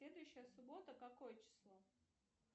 следующая суббота какое число